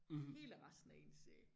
Hele resten af ens øh